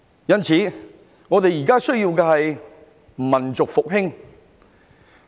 因此，我們現在需要的是民族復興。